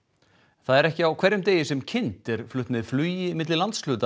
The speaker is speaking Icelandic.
það er ekki á hverjum degi sem kind er flutt með flugi á milli landshluta